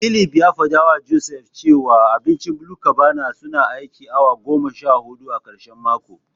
Philip ya fadawa Joseph cewa wajen abincin BluCabana suna aikin awa goma sha hudu a karshen mako.